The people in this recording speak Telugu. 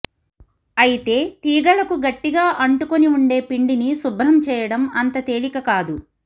అయితే తీగలకు గట్టిగా అంటుకుని ఉండే పిండిని శుభ్రం చేయడం అంత తేలిక కాదు